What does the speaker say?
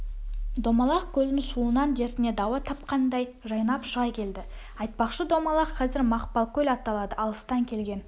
домалақ көлдің суынан дертіне дауа тапқандай жайнап шыға келді айтпақшы домалақ қазір мақпалкөл аталады алыстан келген